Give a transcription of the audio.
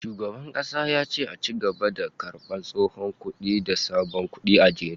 Shugaban kasa ya ce a ci gaba da karbar tsohon kudi da sabon kudi a jere